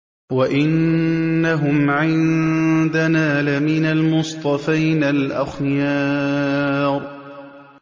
وَإِنَّهُمْ عِندَنَا لَمِنَ الْمُصْطَفَيْنَ الْأَخْيَارِ